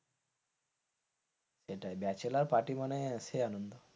সেটাই bachelor party মানে সে আনন্দ।